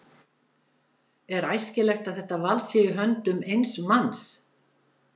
Er æskilegt að þetta vald sé í höndum eins manns?